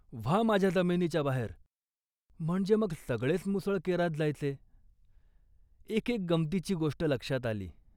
व्हा माझ्या जमिनीच्या बाहेर, म्हणजे मग सगळेच मुसळ केरांत जायचे. एक एक गमंतीची गोष्ट लक्षात आली